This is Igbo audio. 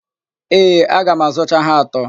Ee, aga m azụcha ha atọ.